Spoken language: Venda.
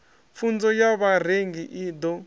pfunzo ya vharengi i ḓo